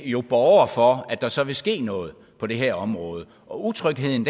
jo borger for at der så vil ske noget på det her område utrygheden